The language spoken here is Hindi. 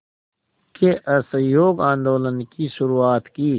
के असहयोग आंदोलन की शुरुआत की